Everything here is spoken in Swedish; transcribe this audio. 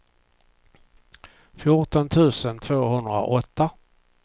fjorton tusen tvåhundraåtta